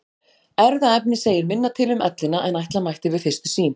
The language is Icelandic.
Erfðaefnið segir minna til um ellina en ætla mætti við fyrstu sýn.